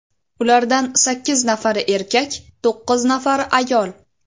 Ulardan sakkiz nafari erkak, to‘qqiz nafari ayol.